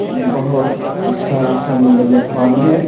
बहुत सारा समुंद्र में पानी है।